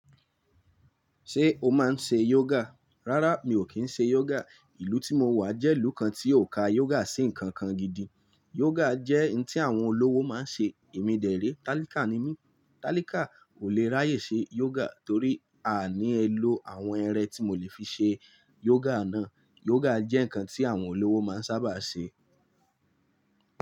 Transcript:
Sé o máa ń se yoga? Rárá, mi ò kí ń se yoga. Ìlú tí mo wà jẹ́ ìlú kan tí ò ka yoga sí ǹkan kan gidi. Yoga jẹ́ ǹ tí àwọn olówó máa ń ṣe. Emí dẹ̀ ré. Talíká ni mí. Talíká kò lè ráyè ṣe yoga torí a ní ẹ lo àwọn ẹrẹ́ tí mò lè fi ṣe yoga náà. Yoga jẹ́ ǹkan tí àwọn olówó máa ń sábà ṣe.